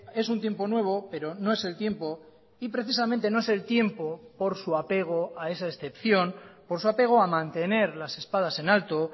es un tiempo nuevo pero no es el tiempo y precisamente no es el tiempo por su apego a esa excepción por su apego a mantener las espadas en alto